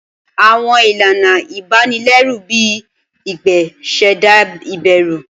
Awọn ilana ibanilẹru, bii igbe, ṣẹda iberu.